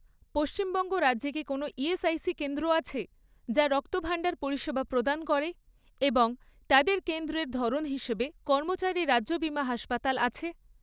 পশ্চিমবঙ্গ রাজ্যে কি কোনও ইএসআইসি কেন্দ্র আছে যা রক্তভাণ্ডার পরিষেবা প্রদান করে এবং তাদের কেন্দ্রের ধরন হিসেবে কর্মচারী রাজ্য বিমা হাসপাতাল আছে?